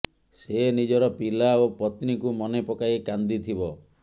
ସେ ନିଜର ପିଲା ଓ ପତ୍ନୀକୁ ମନେ ପକାଇ କାନ୍ଦି ଥିବ